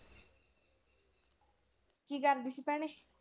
ਕੀ ਕਰਦੀ ਸੀ ਭੈਣੇ?